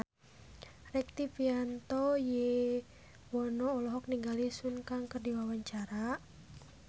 Rektivianto Yoewono olohok ningali Sun Kang keur diwawancara